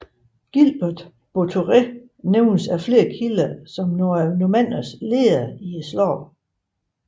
Gilbert Buatère nævnes af flere kilder som normannernes leder i slaget